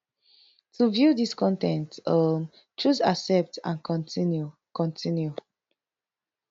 to view dis con ten t um choose accept and continue continue